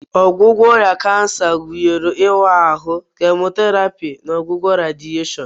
Ọgwụgwọ ọrịa kansa gụnyere ịwa ahụ, chemotherapy, na ọgwụgwọ radieshon.